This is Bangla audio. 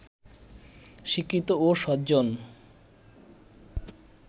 শিক্ষিত ও সজ্জন